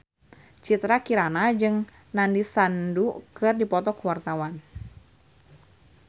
Citra Kirana jeung Nandish Sandhu keur dipoto ku wartawan